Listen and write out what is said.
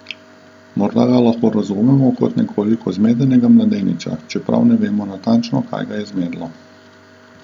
Morda ga lahko razumemo kot nekoliko zmedenega mladeniča, čeprav ne vemo natančno kaj ga je zmedlo.